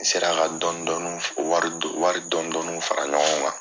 N sera ka dɔni dɔni wari dɔni dɔni fara ɲɔgɔn wa